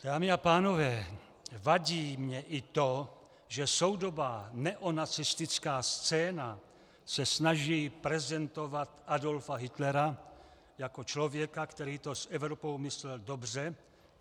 Dámy a pánové, vadí mně i to, že soudobá neonacistická scéna se snaží prezentovat Adolfa Hitlera jako člověka, který to s Evropou myslel dobře.